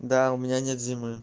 да у меня нет зимы